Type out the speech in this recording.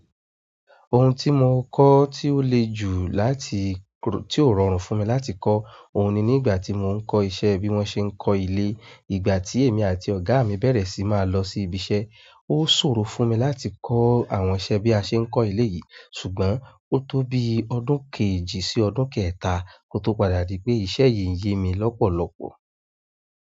Oun tí mo kọ́ tí ó le jù láti tí kru- ti ó rọrùn fún mi láti kọ́, òun ni nígbà tí mò ń kọ́ iṣẹ́ bí wọ́n ṣe ń kọ́ ilé. Ìgbà tí èmi àti ọ̀gá mi bẹ̀rẹ̀ sí máa lọ sí ibi iṣẹ́, ó ṣòro fún mi láti kọ́ àwọn iṣẹ́ bí a ṣe ń kọ́ ilé yìí ṣùgbọ́n ó tó bí ọdún kejì sí ọdún kẹta kó tó padà di pé iṣẹ́ yìí ń yé mi lọ́pọ̀lọpọ̀.